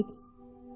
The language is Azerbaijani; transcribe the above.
Dedi Uyid.